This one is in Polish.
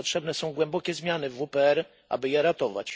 Potrzebne są głębokie zmiany w WPR, aby je ratować.